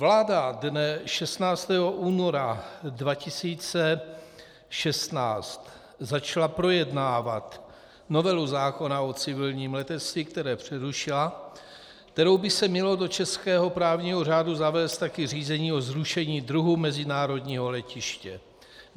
Vláda dne 16. února 2016 začala projednávat novelu zákona o civilním letectví, které přerušila, kterou by se mělo do českého právního řádu zavést taky řízení o zrušení druhu mezinárodního letiště.